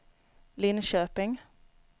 Linköping